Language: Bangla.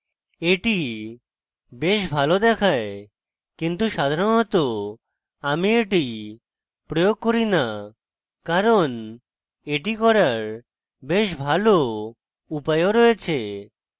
এটি বেশ ভালো দেখায় কিছু সাধারণত আমি এটি প্রয়োগ করি না কারণ এটি করার বেশ ভালো উপায় do রয়েছে